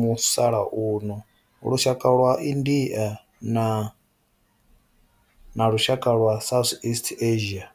musalauno lushaka lwa India na lushaka lwa Southeast Asia.